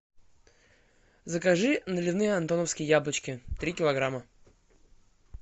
закажи наливные антоновские яблочки три килограмма